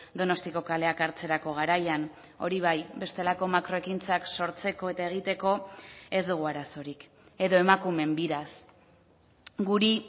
donostiako kaleak hartzerako garaian hori bai bestelako makro ekintzak sortzeko eta egiteko ez dugu arazorik edo emakumeen biraz guri